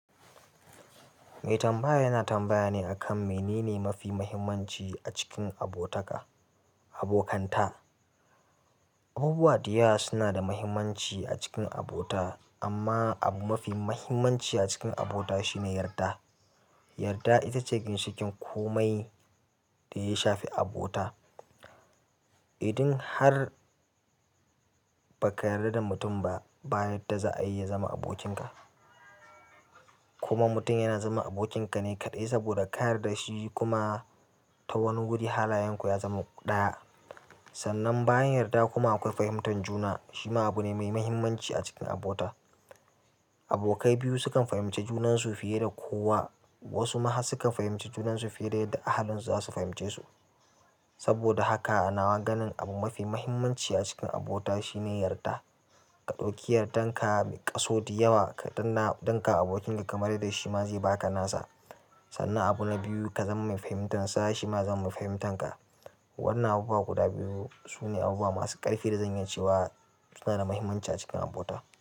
Mai tambayan yana tambaya ne a kan menene mafi mahimmanci a cikin abotaka- abokanta. Abubuwa da yawa suna da mahimmanci a cikin abota amma abu mafi mahimmanci a cikin abota shine yarda. Yarda ita ce ginshiƙin komai da ya shafi abota. Idan har baka yarda da mutum ba, ba yarda za'ayi ya zama abokin ka. Kuma mutum yana zama abokinka ne kaɗai saboda ka yarda da shi kuma ta wanni guri halayan ku ya zama kamar ɗaya sannan bayan yarda kuma akwai fahimtar juna. Shi ma abu ne mai mahimmanci a cikin abota. Abokai biyu sukan fahimci junansu fiye da kowa. Wasu ma har sukan fahimci junansu fiye da a halin su za su fahimce su. Saboda haka a nawa ganin abu mafi mahimmanci a cikin abota shine yarda. Ka ɗauki yardan ka a kaso da yawa ka ɗanna- ɗinka abokinka kamar yarda shi ma zai baka nasa. Sannan abu na biyu ka zama mai fahimtar sa shi ma ya zama mai fahimtanka. Waɗannan abubuwa guda biyu su ne abubuwa masu ƙarfi da zanyi cewa suna da muhimmanci cikin abota.